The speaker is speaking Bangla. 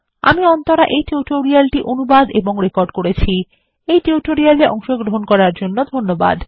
আমি অন্তরা এই টিউটোরিয়াল টি অনুবাদ এবং রেকর্ড করেছি এই টিউটোরিয়াল এ অংশগ্রহন করার জন্য ধন্যবাদ